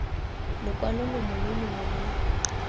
lokwalo longwe lo longwe lo